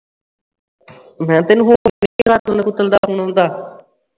ਮੈਂ ਤੈਨੂੰ ਹੋਰ ਕਿਸੇ ਦਾ